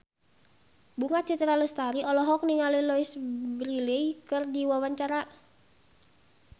Bunga Citra Lestari olohok ningali Louise Brealey keur diwawancara